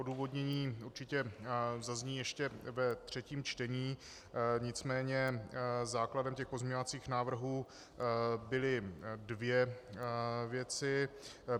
Odůvodnění určitě zazní ještě ve třetím čtení, nicméně základem těch pozměňovacích návrhů byly dvě věci.